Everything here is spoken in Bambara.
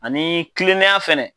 Ani kilennenya fɛnɛ